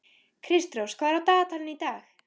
Kristrós, hvað er á dagatalinu í dag?